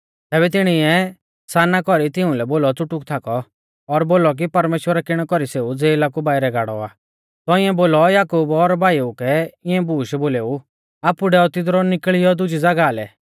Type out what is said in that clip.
तैबै तिणीऐ साना कौरी तिउंलै बोलौ च़ुटुक थाकौ और बोलौ कि परमेश्‍वरै किणै कौरी सेऊ ज़ेला कु बाइरै गाड़ौ आ तौंइऐ बोलौ याकूब और भाईऊ कै इऐं बूश बोलेऊ आपु डैऔ तिदरु निकल़ियौ दुजी ज़ागाह लै